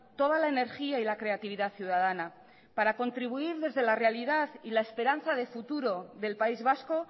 toda la energía y la creatividad ciudadana para contribuir desde la realidad y la esperanza de futuro del país vasco